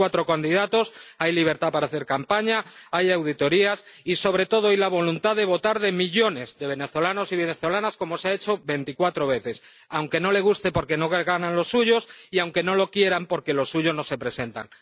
Hay cuatro candidatos, hay libertad para hacer campaña, hay auditorías y, sobre todo, la voluntad de votar de millones de venezolanos y venezolanas, como se ha hecho veinticuatro veces, aunque no les guste porque no ganan los suyos y aunque no lo quieran porque los suyos no se presentan.